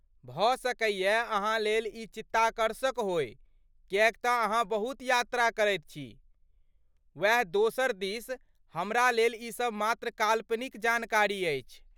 भऽ सकैयै अहाँलेल ई चित्ताकर्षक होअय किएक तँ अहाँ बहुत यात्रा करैत छी, ओएह दोसर दिस हमरा लेल ई सभ मात्र काल्पनिक जानकारी अछि।